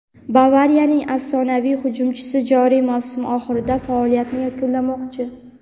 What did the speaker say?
"Bavariya"ning afsonaviy hujumchisi joriy mavsum oxirida faoliyatini yakunlamoqchi;.